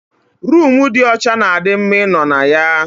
Roomu dị ọcha na di mma ịnọ na ya